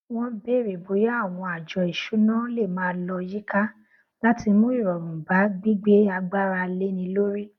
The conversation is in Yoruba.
wọn bèrè bóyá àwọn àjọ ìṣúná lè máa lọ yíká láti mú ìrọrùn bá gbígbé agbára léni lórí